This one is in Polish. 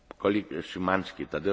Panie Przewodniczący!